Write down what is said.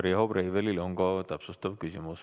Riho Breivelil on täpsustav küsimus.